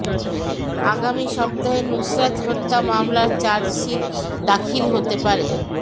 আগামী সপ্তাহে নুসরাত হত্যা মামলার চার্জশিট দাখিল হতে পারে